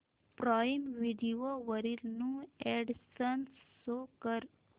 prime Video वरील new additions show कर